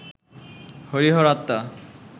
হরিহর আত্মা